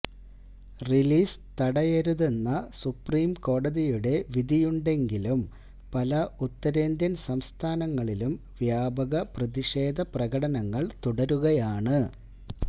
release തടയരുതെന്ന സുപ്രീംകോടതിയുടെ വിധിയുണ്ടെങ്കിലും പല ഉത്തരേന്ത്യൻ സംസ്ഥാനങ്ങളിലും വ്യാപക പ്രതിഷേധ പ്രകടനങ്ങൾ തുടരുകയാണ്